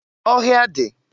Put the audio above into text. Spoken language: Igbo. Ọhịa dị.